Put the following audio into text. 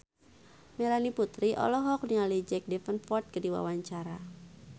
Melanie Putri olohok ningali Jack Davenport keur diwawancara